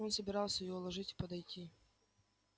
он собирался её уложить и подойти